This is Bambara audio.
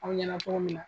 Aw ɲɛna cogo min na